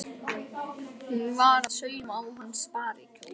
Hún var að sauma á hana sparikjól.